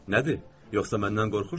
Nədir, yoxsa məndən qorxursuz?